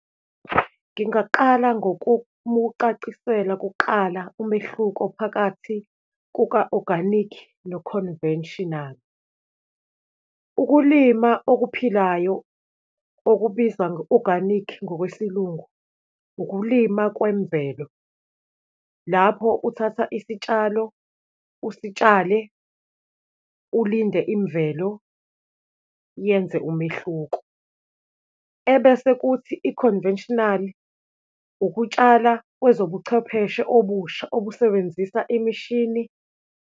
Ngingaqala ngokumucacisela kuqala umehluko phakathi kuka oganikhi no-conventional. Ukulima okuphilayo okubizwa nge-organic ngokwesiLungu ukulima kwemvelo. Lapho uthatha isitshalo, usitshale, ulinde imvelo yenze umehluko, ebese kuthi i-conventional, ukutshala kwezobuchwepheshe obusha obusebenzisa imishini.